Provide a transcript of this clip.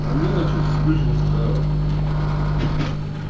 а мне вот что-то скучно стало